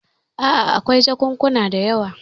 A'a, akwai jakunkuna da yawa.